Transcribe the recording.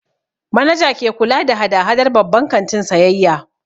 Manaja ke kula da hada-hadar babban kantin sayayya.